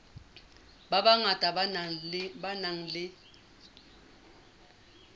ba bangata ba nang le